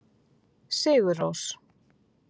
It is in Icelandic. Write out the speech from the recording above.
Sigurrós